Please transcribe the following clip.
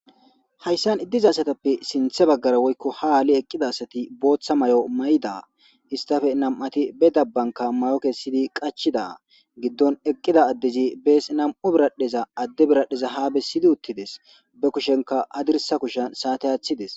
Hayssan idiza asatappe sinthe baggara woykko haali eqqida asati booththa may7o mayda istafe nam7ati be dabbanka may7o kessidi qachida giddon eqqida addezi bees nam7u biradheza adde biradheza haa bessidi uttides be kushenka adirsa kushan saate aaththides.